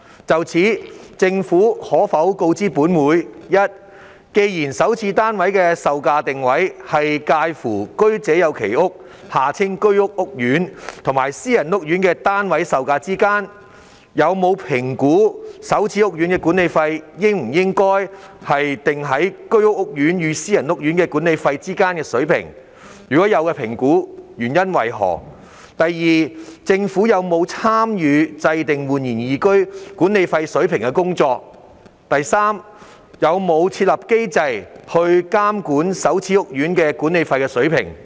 就此，政府可否告知本會：一既然首置單位售價的定位，是介乎居者有其屋計劃屋苑和私人屋苑的單位售價之間，有否評估首置屋苑的管理費應否定於居屋屋苑與私人屋苑的管理費之間的水平；若有評估，結果為何；二政府有否參與訂定煥然懿居管理費水平的工作；及三會否設立機制，監管首置屋苑的管理費水平？